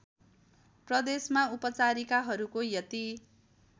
प्रदेशमा उपचारिकाहरूको यति